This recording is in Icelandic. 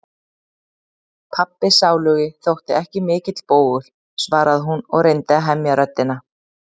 Pabbi sálugi þótti ekki mikill bógur, svaraði hún og reyndi að hemja röddina.